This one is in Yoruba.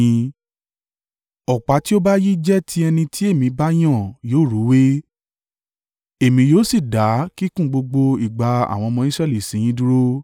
Ọ̀pá tí ó bá yí jẹ́ ti ẹni tí èmi bá yàn yóò rúwé, èmi yóò sì dá kíkùn gbogbo ìgbà àwọn ọmọ Israẹli sí yín dúró.”